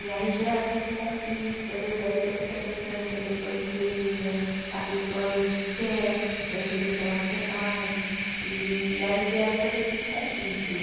E aí gera aquele conflito, que às vezes aí você fica tentando que a pessoa entenda, a pessoa às vezes quer, de repente ela não quer mais, e aí gera todos esses conflitos.